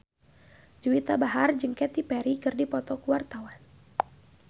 Juwita Bahar jeung Katy Perry keur dipoto ku wartawan